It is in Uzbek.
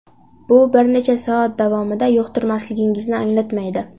Bu bir necha soat davomida yuqtirilmasligingizni anglatmaydi.